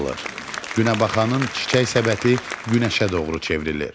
Günəbaxanın çiçək səbəti günəşə doğru çevrilir.